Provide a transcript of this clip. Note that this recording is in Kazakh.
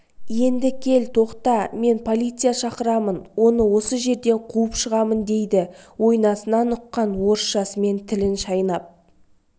енді кел тоқта мен полиция шақырамын оны осы жерден қуып шығамын дейді ойнасынан ұққан орысшасымен тілін шайнап